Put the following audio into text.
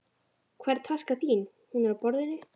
Hvar er taskan þín? Hún er á borðinu.